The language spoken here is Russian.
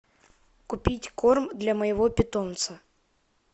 купить корм для моего питомца